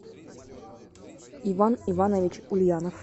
иван иванович ульянов